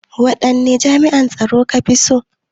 Waɗanne jami'an tsaro ka fi so?